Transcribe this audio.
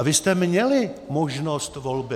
A vy jste měli možnost volby.